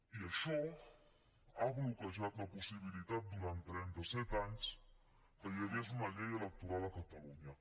i això ha bloquejat la possibilitat durant trenta set anys que hi hagués una llei electoral a catalunya